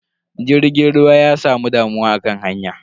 Jirgin ruwan ya samu damuwa akan hanya.